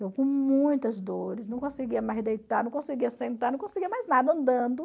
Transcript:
Eu com muitas dores, não conseguia mais deitar, não conseguia sentar, não conseguia mais nada andando.